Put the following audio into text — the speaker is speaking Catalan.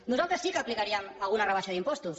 nosaltres sí que aplicaríem alguna rebaixa d’impostos